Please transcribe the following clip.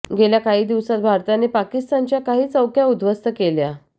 गेल्या काही दिवसात भारताने पाकिस्तानच्या काही चौक्या उद्ध्वस्त केल्या